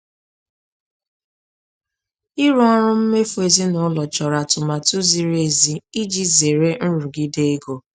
Ịrụ ọrụ mmefu ezinaụlọ chọrọ atụmatụ ziri ezi iji zere nrụgide ego.